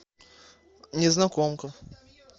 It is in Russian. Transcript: незнакомка